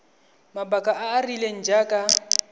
mabaka a a rileng jaaka